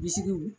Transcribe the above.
Bilisiw